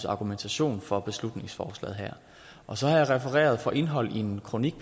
argumentation for beslutningsforslaget her og så har jeg refereret fra indholdet i en kronik